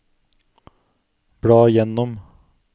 bla gjennom